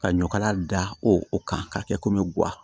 Ka ɲɔkala da o kan k'a kɛ komi guwa